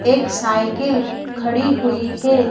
एक साइकिल खड़ी हुई है।